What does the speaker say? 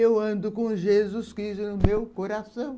Eu ando com Jesus Cristo no meu coração.